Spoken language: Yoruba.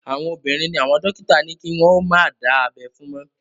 Àwọn obìnrin ni àwọn dókítà ní kí wọ́n ó má dá abẹ́ fún mọ́